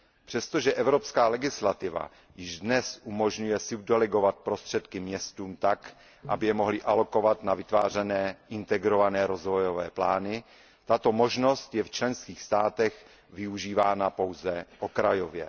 Přestože evropská legislativa již dnes umožňuje subdelegovat prostředky městům tak, aby je mohly alokovat na vytvářené integrované rozvojové plány, tato možnost je v členských státech využívána pouze okrajově.